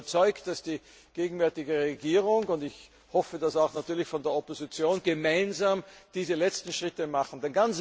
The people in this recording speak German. Ich bin überzeugt, dass die gegenwärtige Regierung und ich hoffe das natürlich auch von der Opposition gemeinsam diese letzten Schritte tut.